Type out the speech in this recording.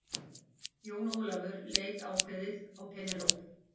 Jón Ólafur leit ákveðið á Penélope.